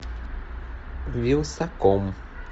вилсаком